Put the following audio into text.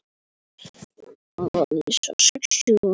Ég á von á því.